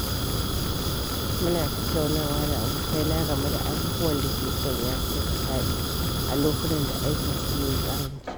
Mun tattauna da abokaina game da abubuwan da ke sanya su nishaɗi a lokutan da aikin su yayi ƙaranci.